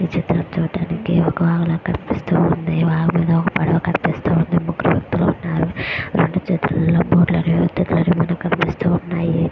ఈ చిత్రం చూడడానికి ఒక రకంగా కనిపిస్తూ ఉంది వాగులో ఒక పడవ కనిపిస్తూ ఉంది ముగ్గురు వ్యక్తులు వున్నారు రెండు చేతులలో మనకు కనిపిస్తూ ఉన్నాయి.